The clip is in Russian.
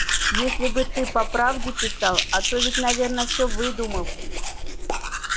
если бы ты по правде писал а то ведь наверное все выдумал